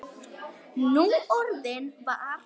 Núorðið var